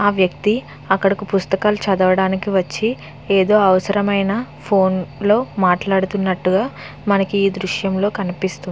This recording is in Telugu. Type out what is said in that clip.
ఆ వ్యక్తి అక్కడకి పుస్తకాలు చదువడానికి వచ్చి ఏదో అవసరమైన ఫోన్ లో మాట్లాడుతునట్టుగా మనకి ఈ దృశ్యం లో కనిపిస్తుంది.